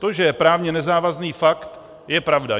To, že je právně nezávazný pakt, je pravda.